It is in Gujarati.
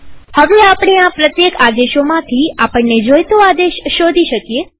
હવે આપણે આ પ્રત્યેક આદેશોમાંથી આપણને જોઈતો આદેશ શોધી શકીએ